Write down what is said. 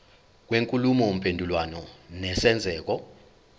kwenkulumo mpendulwano nesenzeko